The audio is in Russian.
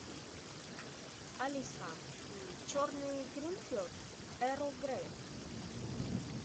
алиса черный гринфилд эрл грей